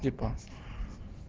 типа